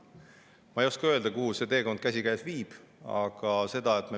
Ma ei oska öelda, kuhu nende teekond käsikäes viib.